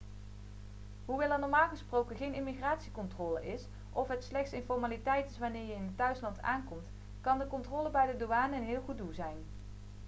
hoewel er normaal gesproken geen immigratiecontrole is of het slechts een formaliteit is wanneer je in je thuisland aankomt kan de controle bij de douane een heel gedoe zijn